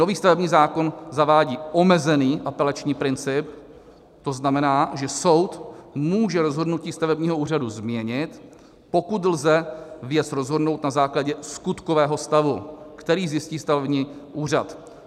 Nový stavební zákon zavádí omezený apelační princip, to znamená, že soud může rozhodnutí stavebního úřadu změnit, pokud lze věc rozhodnout na základě skutkového stavu, který zjistí stavební úřad.